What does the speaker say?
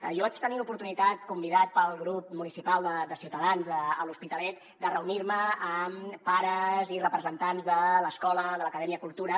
jo vaig tenir l’oportunitat convidat pel grup municipal de ciutadans a l’hospitalet de reunir me amb pares i representants de l’escola de l’acadèmia cultura